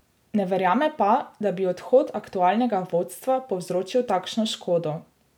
Ne verjame pa, da bi odhod aktualnega vodstva povzročil takšno škodo.